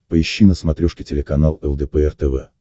поищи на смотрешке телеканал лдпр тв